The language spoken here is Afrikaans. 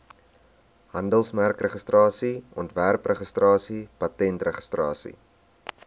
handelsmerkregistrasie ontwerpregistrasie patentregistrasie